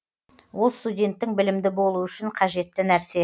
ол студенттің білімді болуы үшін қажетті нәрсе